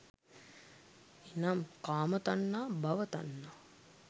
එනම් කාම තණ්හා, භව තණ්හා,